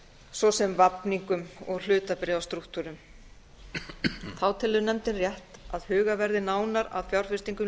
svo sem vafningum og hlutabréfastrúktúrum þá telur nefndin rétt að hugað verði nánar að fjárfestingum